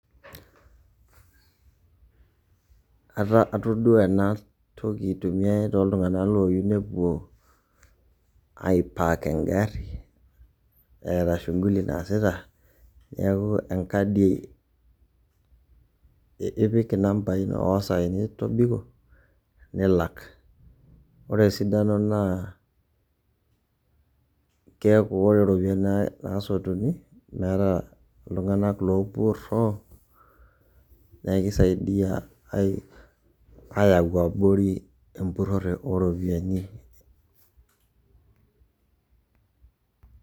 Ataduo ena toki tene toltung'anak ooyie nepuo ai park engarrii eetaa shughuli naasita neeku enkadi ipik inambai o saai nitobiko nilak, ore esidano naa keeku ore iropiyiani naasotuni meeta iltung'anak oopurroo neeku kisaidia aayau abori empurrore ooropiyiani.